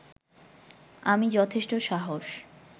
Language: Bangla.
আমি যথেষ্ট সাহস